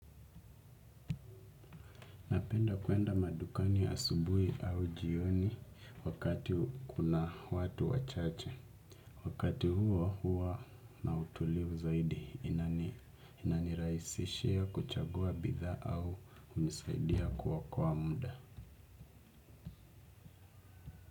Napenda kwenda madukani asubuhi au jioni, wakati kuna watu wachache. Wakati huo huwa na utulivu zaidi inaniraisishia kuchagua bidhaa au hunisaidia kokoa muda.